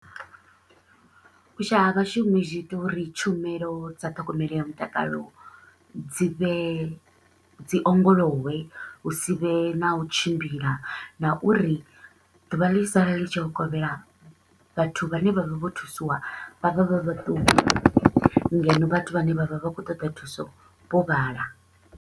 U shaya ha vhashumi zwi ita uri tshumelo dza ṱhogomelo ya mutakalo dzi vhe dzi ongolowe, hu si vhe na u tshimbila na uri ḓuvha ḽi tshi sala li tshi yo kovhela, vhathu vhane vha vha vho thusiwa vha vha vha vhaṱuku ngeno vhathu vhane vha vha vha kho u ṱoḓa thuso vho vhala.